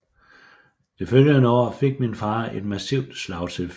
Det følgende år fik min far et massivt slagtilfælde